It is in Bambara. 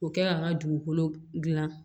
O kɛ ka n ka dugukolo dilan